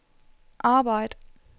arbejd